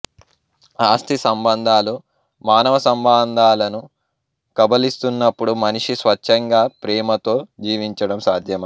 ఆస్తి సంబంధాలు మానవ సంబంధాలను కబళిస్తున్నప్పుడు మనిషి స్వచ్ఛంగా ప్రేమతో జీవించడం సాధ్యమా